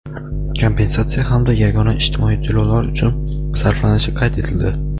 kompensatsiya hamda yagona ijtimoiy to‘lovlar uchun sarflanishi qayd etildi.